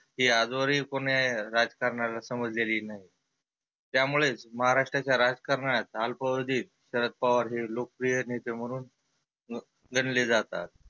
ही आजवर ही कुण्या राजकारण्याला समजलेली नाही. त्यामुळेच महाराष्ट्राच्या राजकारणात आल्पावधीत शरद पवार हे लोकप्रिय नेते म्हणुन गनले जातात.